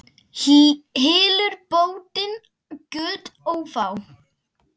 Hylur bótin göt ófá.